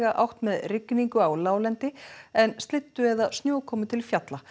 átt með rigningu á láglendi en slyddu eða snjókomu til fjalla